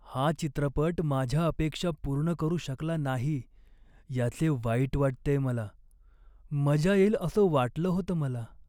हा चित्रपट माझ्या अपेक्षा पूर्ण करू शकला नाही याचे वाईट वाटतेय मला. मजा येईल असं वाटलं होतं मला.